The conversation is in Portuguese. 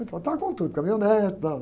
Então, estava com tudo, caminhonete e tal.